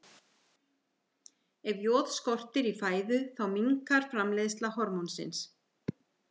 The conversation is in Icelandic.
Ef joð skortir í fæðu þá minnkar framleiðsla hormónsins.